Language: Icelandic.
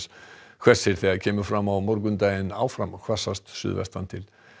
hvessir þegar kemur fram á morgundaginn áfram hvassast suðvestan til